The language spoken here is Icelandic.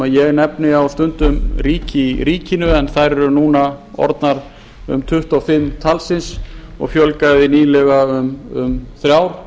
ég nefni stundum ríki í ríkinu en þær eru núna orðnar um tuttugu og fimm talsins og fjölgaði nýlega um þrjár